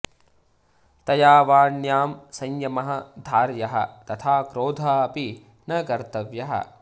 तया वाण्यां संयमः धार्यः तथा क्रोधः अपि न कर्तव्यः